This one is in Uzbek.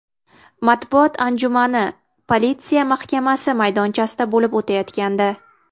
Matbuot anjumani politsiya mahkamasi maydonchasida bo‘lib o‘tayotgandi.